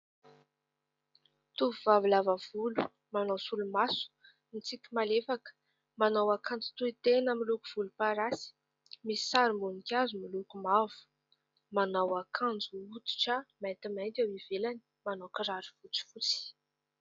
Tovovavy lava volo, manao solomaso, mitsiky malefaka, manao akanjo tohy tena miloko volomparasy misy sarim-boninkazo miloko mavo, manao akanjo hoditra maintimainty eo ivelany, manao kiraro fotsifotsy.